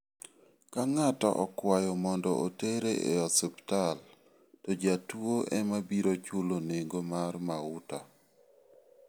Ka ng'ato okwayo mondo otere e osiptal to jatuo ema biro chulo nengo mar mauta.